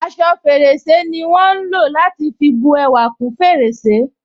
Aṣọ fèrèsé ni wọn ń lò láti fi bú ẹwà kún fèrèsé